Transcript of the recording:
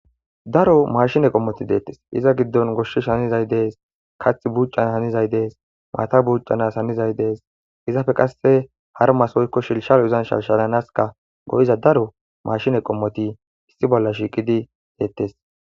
daro mashine qommoti deettes iza giddon goshshish hanizay dees kath buccan hanizay dees maata buuccanas hanizay dees izafe qasse har masoykko shilshalo uzanshashalanaska go7iza daro mashine qommoti issi bolla shiiqidi deettes